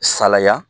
Salaya